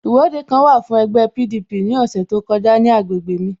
Ìwọ́de kan wà fún ẹgbẹ́ PDP ní ọ̀sẹ̀ tó kọjá ní agbègbè mj